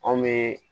Anw bɛ